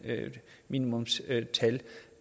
minimumstimetal